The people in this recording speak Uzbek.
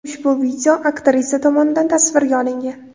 Ushbu video aktrisa tomonidan tasvirga olingan.